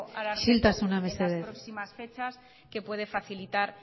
ararteko isiltasuna mesedez en las próximas fechas que puede facilitar